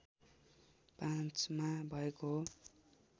५ मा भएको हो